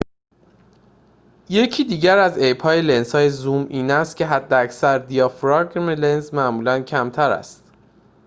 یکی دیگر از عیب‌های لنزهای زوم این است که حداکثر دیافراگم سرعت لنز معمولاً کمتر است